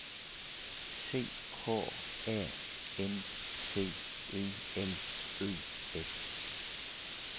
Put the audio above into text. C H A N C E L Ø S